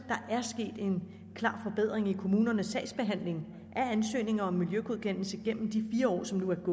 klar forbedring i kommunernes sagsbehandling af ansøgninger om miljøgodkendelse igennem de fire år som nu er